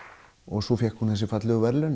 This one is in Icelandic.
svo fékk hún þessi fallegu verðlaun